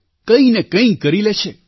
કંઈ ન કંઈ કરી લે છે